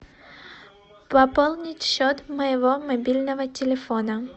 пополнить счет моего мобильного телефона